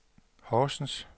Horsens